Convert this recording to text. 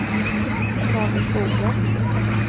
Tage Skoglund